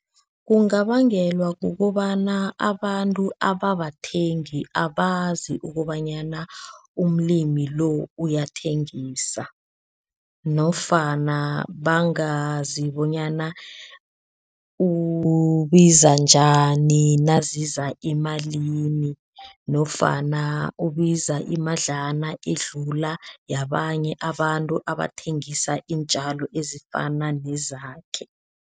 Kungabangelwa kukobana abantu ababathengi abazi ukobanyana umlimi lo uyathengisa nofana bangazi bonyana ubiza njani naziza emalini nofana ubiza imadlana edlula yabanye abantu abathengisa iintjalo ezifana nezakhe.